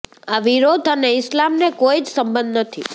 આ વિરોધ અને ઇસ્લામને કોઈ જ સંબંધ નથી